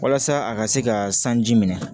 Walasa a ka se ka sanji minɛ